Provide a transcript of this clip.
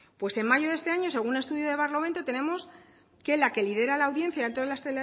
pues en mayo de este año según estudio de barlovento tenemos que la que lidera la audiencia dentro de las